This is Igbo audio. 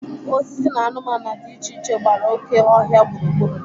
Osisi na anụmanụ dị iche iche gbara oké ọhịa gburugburu.